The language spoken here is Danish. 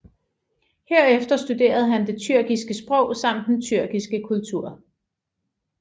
Herefter studerede han det tyrkiske sprog samt den tyrkiske kultur